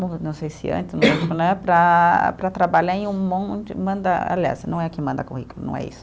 Não, não sei se antes, né para para trabalhar em um monte, manda, aliás, não é a que manda currículo, não é isso.